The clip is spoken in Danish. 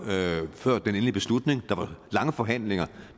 før den endelige beslutning der var lange forhandlinger